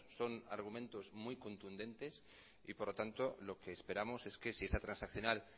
son argumentos muy contundentes y por lo tanto lo que esperamos es que si esta transaccional